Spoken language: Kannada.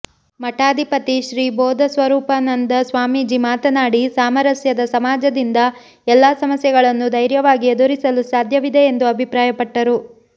ಮಠಾಧಿಪತಿ ಶ್ರೀಬೋಧ ಸ್ವರೂಪಾನಂದ ಸ್ವಾಮೀಜಿ ಮಾತನಾಡಿ ಸಾಮರಸ್ಯದ ಸಮಾಜದಿಂದ ಎಲ್ಲಾ ಸಮಸ್ಯೆಗಳನ್ನು ಧೈರ್ಯವಾಗಿ ಎದುರಿಸಲು ಸಾಧ್ಯವಿದೆ ಎಂದು ಅಭಿಪ್ರಾಯಪಟ್ಟರು